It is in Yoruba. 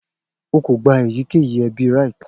O ko gba eyikeyi ebi rites